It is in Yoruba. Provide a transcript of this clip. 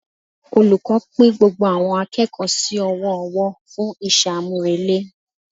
Olùkọ́ pín gbogbo àwọn akẹ́kọ̀ọ́ sí ọwọ́ ọwọ́ fún iṣẹ́ àmúrelé